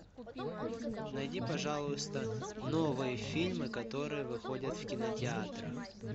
найди пожалуйста новые фильмы которые выходят в кинотеатрах